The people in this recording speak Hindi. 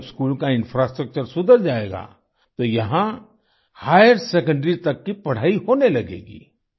अब जब स्कूल का इंफ्रास्ट्रक्चर सुधर जाएगा तो यहां हाइर सेकंडरी तक की पढ़ाई होने लगेगी